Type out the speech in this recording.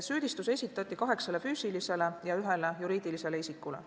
Süüdistus esitati kaheksale füüsilisele ja ühele juriidilisele isikule.